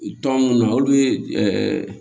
Tɔn munnu na olu ye ɛɛ